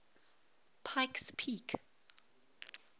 pikes peak